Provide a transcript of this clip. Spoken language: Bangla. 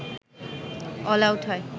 অলআউট হয়